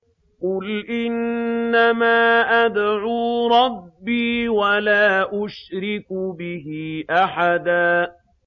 قُلْ إِنَّمَا أَدْعُو رَبِّي وَلَا أُشْرِكُ بِهِ أَحَدًا